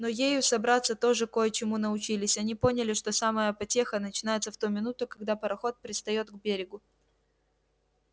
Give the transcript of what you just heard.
но ею собратья тоже кое чему научились они поняли что самая потеха начинается в ту минуту когда пароход пристаёт к берегу